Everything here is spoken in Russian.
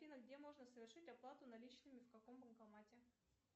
афина где можно совершить оплату наличными в каком банкомате